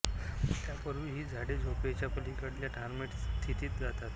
त्यापूर्वीच ही झाडे झोपेच्या पलीकडल्या डॉर्मंट स्थितीत जातात